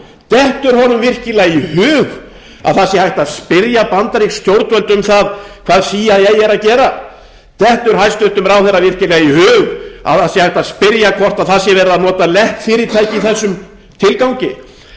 dettur honum virkilega í hug að það sé hægt að spyrja bandarísk stjórnvöld um það hvað cia er að gera dettur hæstvirtur ráðherra virkilega í hug að það sé hægt að spyrja hvort það sé verið að nota leppfyrirtæki í þessum tilgangi